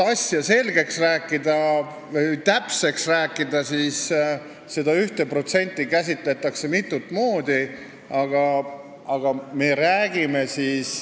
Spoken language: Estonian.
Asja selgitamiseks ütlen täpsemalt, et seda 1% käsitletakse mitut moodi.